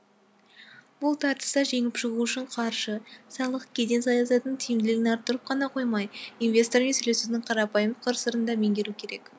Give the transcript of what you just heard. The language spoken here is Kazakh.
бұл тартыста жеңіп шығу үшін қаржы салық кеден саясатының тиімділігін арттырып қана қоймай инвестормен сөйлесудің қарапайым қыр сырын да меңгеру керек